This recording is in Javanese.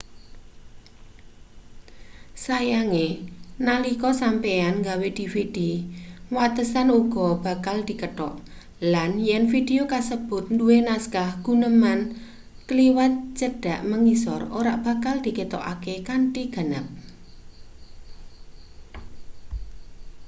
sayange nalika sampeyan nggawe dvd watesan uga bakal dikethok lan yen vidio kasebut duwe naskah guneman kliwat cedhak mangisor ora bakal diketokake kanthi ganep